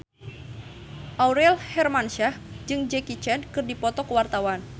Aurel Hermansyah jeung Jackie Chan keur dipoto ku wartawan